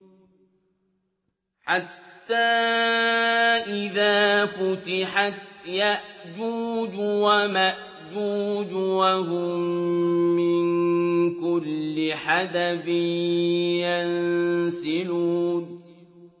حَتَّىٰ إِذَا فُتِحَتْ يَأْجُوجُ وَمَأْجُوجُ وَهُم مِّن كُلِّ حَدَبٍ يَنسِلُونَ